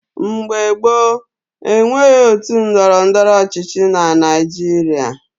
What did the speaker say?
Mgbe gboo, e nweghị otu ndọrọndọrọ ọchịchị na Naijiria.